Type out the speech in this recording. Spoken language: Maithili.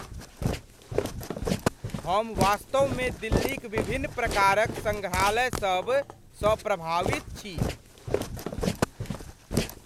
हम वास्तव मे दिल्लीक विभिन्न प्रकारक सङ्ग्रहालयसभ सँ प्रभावित छी।